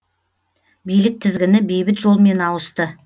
билік тізгіні бейбіт жолмен ауысты